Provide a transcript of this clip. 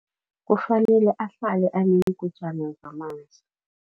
Kufanele ahlale aneengujana zamanzi.